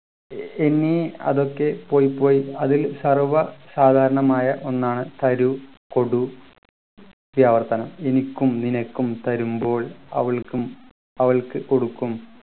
ഇനി അതൊക്കെ പോയ് പോയി അതിൽ സർവ്വസാധാരണമായ ഒന്നാണ് തരു കൊടു ഈ ആവർത്തനം എനിക്കും നിനക്കും തരുമ്പോൾ അവൾക്കും അവൾക്ക് കൊടുക്കും